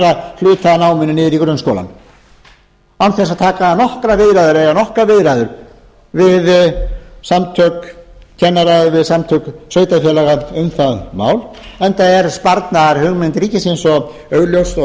ætla síðan að færa hluta af náminu niður í grunnskólann án þess að eiga nokkrar viðræður við samtök kennara eða við samtök sveitarfélaga um það mál enda er sparnaðarhugmynd ríkisins svo augljós og